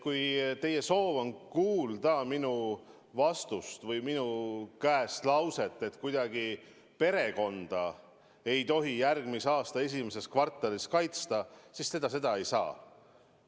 Kui teie soov on kuulda minu käest lauset, et järgmise aasta esimeses kvartalis ei tohi kuidagi perekonda kaitsta, siis seda te ei saa.